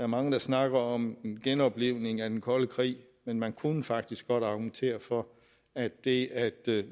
mange der snakker om en genoplivning af den kolde krig men man kunne faktisk godt argumentere for at det at